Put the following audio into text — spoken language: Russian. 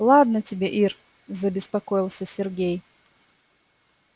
ладно тебе ир забеспокоился сергей